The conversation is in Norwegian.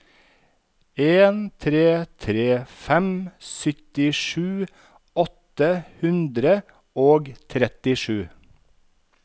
en tre tre fem syttisju åtte hundre og trettisju